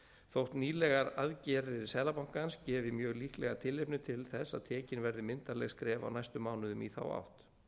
þótt nýlegar aðgerðir seðlabankans gefi mjög líklega tilefni til þess að tekin verði myndarleg skref á næstu mánuðum í þá átt